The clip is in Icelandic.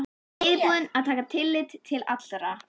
Reiðubúinn að taka tillit til allra.